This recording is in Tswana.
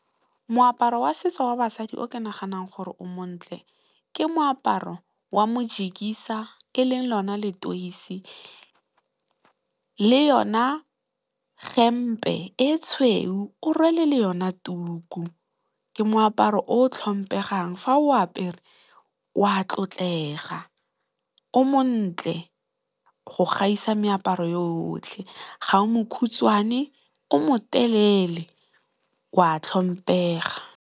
Moaparo wa setso wa basadi o ke naganang gore o montle ke moaparo wa Mojikisa e leng lona Letoisi le yone hempe e tshweu, o rwele le yona tuku. Ke moaparo o tlhompegang fa o apere o a tlotlega, o montle go gaisa meaparo yotlhe. Ga o mokhutswane, o motelele o a tlhompega.